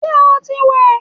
Ṣé o ti wẹ̀?